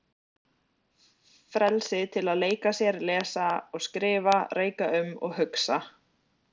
Frelsi til að leika sér, lesa og skrifa, reika um og hugsa.